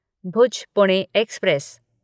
Bhuj Pune express